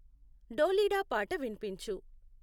ఢోలీడా పాత విన్పించు